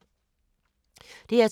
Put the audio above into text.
DR2